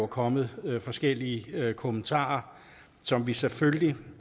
kommet forskellige kommentarer som vi selvfølgelig